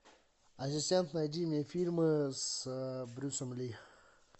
ассистент найди мне фильмы с брюсом ли